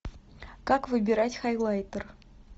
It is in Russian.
как выбирать хайлайтер